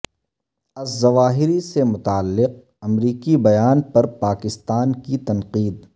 الظواہری سے متعلق امریکی بیان پر پاکستان کی تنقید